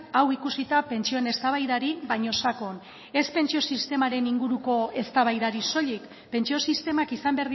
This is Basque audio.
hau ikusita pentsioen eztabaidari baina sakon ez pentsio sistemaren inguruko eztabaidari soilik pentsio sistemak izan